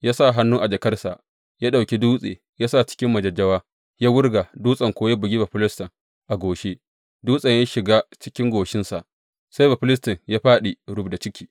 Ya sa hannu a jakarsa ya ɗauki dutse, ya sa cikin majajjawa ya wurga, dutsen kuwa ya bugi Bafilistin a goshi, dutsen ya shiga cikin goshinsa, sai Bafilistin ya fāɗi rubda ciki.